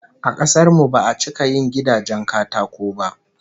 A kasar mu ba'a cika yin gidajen katako ba